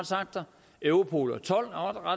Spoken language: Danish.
europol